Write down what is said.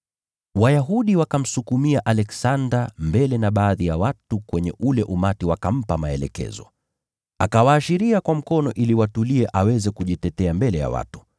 Wayahudi wakamsukumia Aleksanda mbele na baadhi ya watu kwenye ule umati wakampa maelekezo. Akawaashiria kwa mkono ili watulie aweze kujitetea mbele ya watu.